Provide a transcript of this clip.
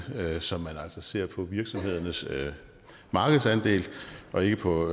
så man altså ser på virksomhedernes markedsandel og ikke på